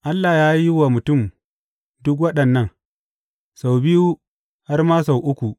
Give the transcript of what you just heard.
Allah ya yi wa mutum duk waɗannan, sau biyu, har ma sau uku.